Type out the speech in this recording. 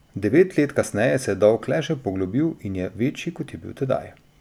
Devet let kasneje se je dolg le še poglobil in je večji, kot je bil tedaj.